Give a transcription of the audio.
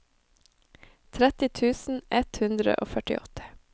tretti tusen ett hundre og førtiåtte